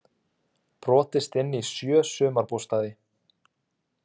Brotist inn í sjö sumarbústaði